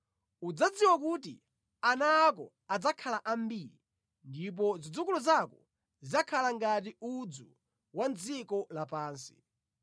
Udzadziwa kuti ana ako adzakhala ambiri, ndipo zidzukulu zako zidzakhala ngati udzu wa mʼdziko lapansi.